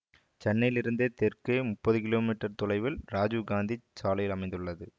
சென்னையிலிருந்து தெற்கே முப்பது கிமீ தொலைவில் ராஜீவ் காந்தி சாலையில் அமைந்துள்ளது